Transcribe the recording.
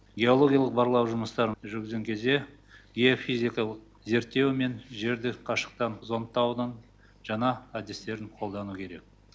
геологиялық барлау жұмыстарын жүргізген кезде геофизикалық зерттеу мен жерді қашықтықтан зондтаудың жаңа әдістерін қолдану керек